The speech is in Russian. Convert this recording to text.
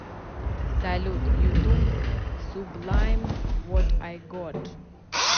салют ютуб сублайм вот ай гот